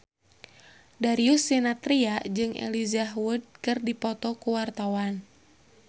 Darius Sinathrya jeung Elijah Wood keur dipoto ku wartawan